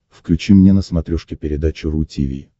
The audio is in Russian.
включи мне на смотрешке передачу ру ти ви